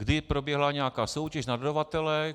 Kdy proběhla nějaká soutěž na dodavatele?